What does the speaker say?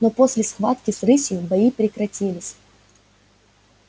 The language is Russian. но после схватки с рысью бои прекратились